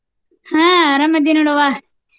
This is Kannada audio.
ಹಾ ಅರಾಮದಿನ್ ನೋಡವಾ.